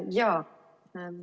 Jaa.